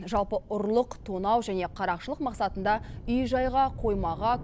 жалпы ұрлық тонау және қарақшылық мақсатында үй жайға қоймаға